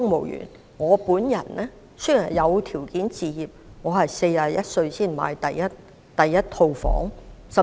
以我為例，雖然有條件置業，但我也要在41歲時才買入第一個單位。